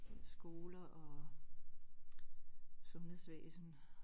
Skoler og sundhedsvæsen